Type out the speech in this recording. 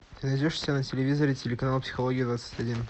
ты найдешь у себя на телевизоре телеканал психология двадцать один